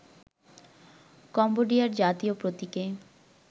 কম্বোডিয়ার জাতীয় প্রতীকে